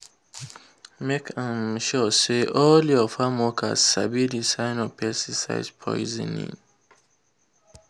make um sure say all your farm workers sabi the sign of pesticide poisoning.